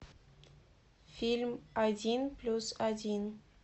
фильм один плюс один